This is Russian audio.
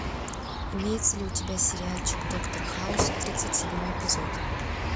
имеется ли у тебя сериальчик доктор хаус тридцать седьмой эпизод